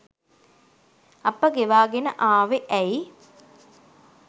අප ගෙවාගෙන ආවෙ ඇයි?